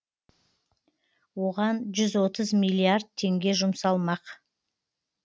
оған жүз отыз миллиард теңге жұмсалмақ